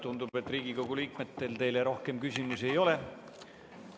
Tundub, et Riigikogu liikmetel teile rohkem küsimusi ei ole.